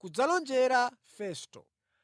kudzalonjera Festo.